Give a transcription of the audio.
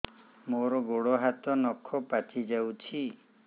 ମୋର ଗୋଡ଼ ହାତ ନଖ ପାଚି ଯାଉଛି